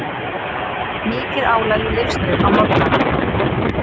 Mikið álag í Leifsstöð á morgnana